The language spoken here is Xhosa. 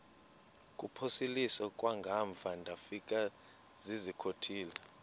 kuphosiliso kwangaemva ndafikezizikotile